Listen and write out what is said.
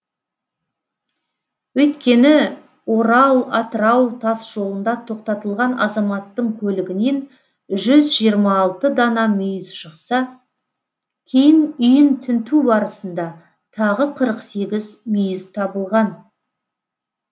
өйткені орал атырау тасжолында тоқтатылған азаматтың көлігінен жүз жиырма алты дана мүйіз шықса кейін үйін тінту барысында тағы қырық сегіз мүйіз табылған